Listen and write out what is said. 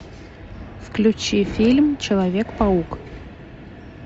включи фильм человек паук